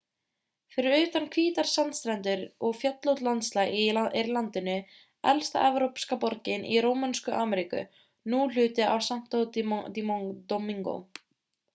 fyrir utan hvítar sandstrendur og fjöllótt landslag er í landinu elsta evrópska borgin í rómönsku ameríku nú hluti af santo domingo